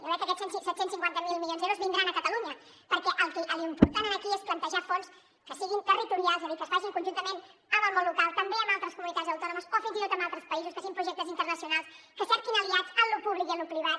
jo crec que aquests set cents i cinquanta miler milions d’euros vindran a catalunya perquè l’important aquí és plantejar fons que siguin territorials és a dir que es facin conjuntament amb el món local també amb altres comunitats autònomes o fins i tot amb altres països que siguin projectes internacionals que cerquin aliats en lo públic i en lo privat